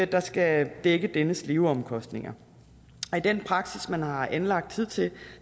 der skal dække dennes leveomkostninger i den praksis man har anlagt hidtil